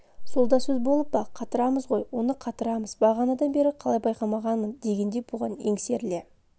сол да сөз болып па қатырамыз ғой оны қатырамыз бағанадан бері қалай байқамағанмын дегендей бұған еңсеріле